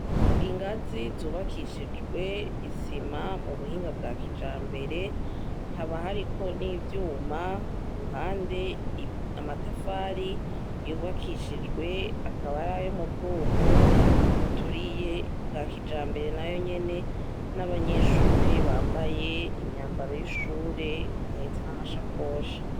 Ingazi zubakishijwe isima mu buhinga bwa kija mbere ntaba hariko n'ivyuma ku ruhande amatafari yubakishijwe akabari ayo mu bwoko bwuturiye bwa kijambere na yo nyene n'abanyeshure bambaye imyamba baroyishure bahetse n'amashakosha.